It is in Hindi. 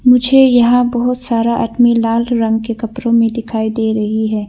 मुझे यहां बहुत सारा आदमी लाल रंग के कपड़ों में दिखाई दे रही है।